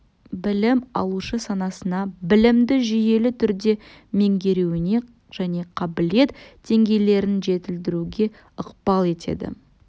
білім алушы санасына білімді жүйелі түрде меңгеруіне және қабілет деңгейлерін жетілдіруге ықпал етеді